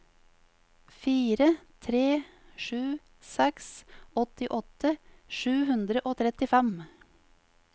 fire tre sju seks åttiåtte sju hundre og trettifem